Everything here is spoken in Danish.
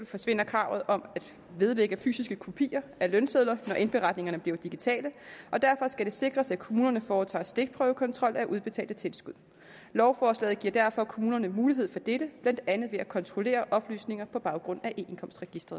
forsvinder kravet om at vedlægge fysiske kopier af lønsedler når indberetningerne bliver digitale og derfor skal det sikres at kommunerne foretager stikprøvekontrol af udbetalte tilskud lovforslaget giver derfor kommunerne mulighed for dette blandt andet ved at kontrollere oplysninger på baggrund